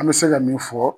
An bɛ se ka min fɔ